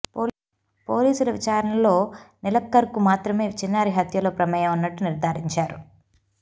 పోలీసుల విచారణలో నిలక్కర్కు మాత్రమే చిన్నారి హత్యలో ప్రమేయం ఉన్నట్టు నిర్ధారించారు